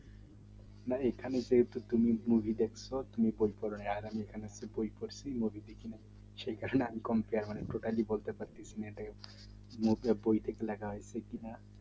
না এখানে যেহেতু তুমি movie দেখছো তুমি বই পড়ো নি আর আমি এখানে বই পড়ছি movie দেখি নাই সেই কারণে আমি বলতে পারতেছি না বই থেকে লেখা হয়েছে কিনা